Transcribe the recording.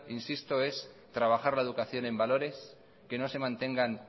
insisto es trabajar la educación en valores que no se mantengan